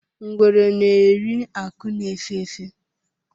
Ngwere na-eri akụ̀ na-efé efé.